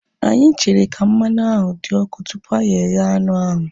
Anyị chere ka mmanụ ahu dị ọkụ tupu anyị eghe anụ ahu